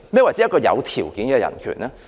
何謂"有條件的人權"呢？